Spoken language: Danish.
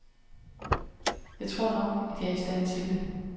Jeg tror nok, at jeg er i stand tildet.